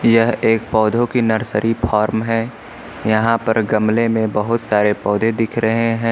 यह एक पौधों की नर्सरी फार्म है यहां पर गमले में बहुत सारे पौधे दिख रहे हैं।